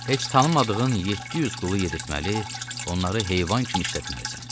Heç tanımadığın 700 qulu yedirtməli, onları heyvan kimi işlətməlisən.